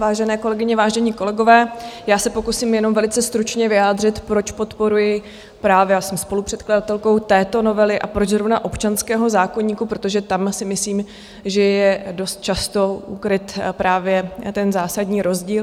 Vážené kolegyně, vážení kolegové, já se pokusím jenom velice stručně vyjádřit, proč podporuji právě a jsem spolupředkladatelkou této novely a proč zrovna občanského zákoníku, protože tam si myslím, že je dost často ukryt právě ten zásadní rozdíl.